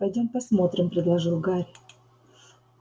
пойдём посмотрим предложил гарри